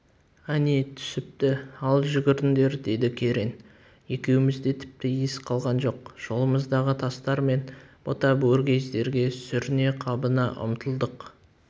әне түсіпті ал жүгіріңдер деді керең екеумізде тіпті ес қалған жоқ жолымыздағы тастар мен бұта-бөргездерге сүріне-қабына ұмтылдық